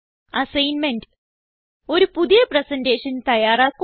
assignment ഒരു പുതിയ presentation തയ്യാറാക്കുക